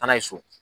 Taa n'a ye so